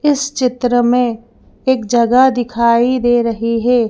इस चित्र में एक जगह दिखाई दे रही है।